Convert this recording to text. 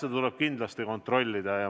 Seda tuleb kindlasti kontrollida.